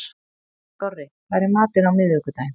Dorri, hvað er í matinn á miðvikudaginn?